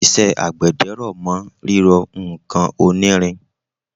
iṣẹ́ àgbẹ̀dẹ r'ọ̀mọ́ rírọ ǹkan onírin